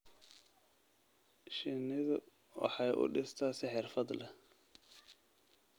Shinnidu waxay u dhistaa si xirfad leh.